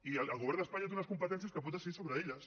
i el govern d’espanya té unes competències que pot decidir sobre elles